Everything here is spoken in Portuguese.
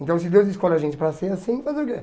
Então se Deus escolhe a gente para ser assim, fazer o que?